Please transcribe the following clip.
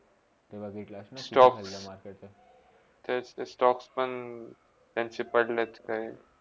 ते बघितलास ना तेतेच stocke पण त्याचे पडलेत काय